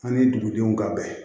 Ani dugudenw ka bɛn